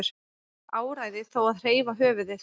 Áræði þó að hreyfa höfuðið.